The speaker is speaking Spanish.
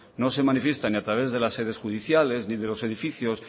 no se manifiesta ni a través de las sedes judiciales ni de los edificios